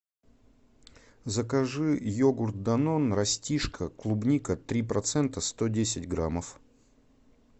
закажи йогурт данон растишка клубника три процента сто десять граммов